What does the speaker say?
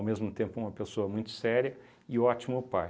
mesmo tempo uma pessoa muito séria e ótimo pai.